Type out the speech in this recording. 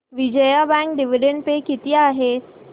Vijaya bank dividend pay किती आहे